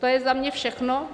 To je za mě všechno.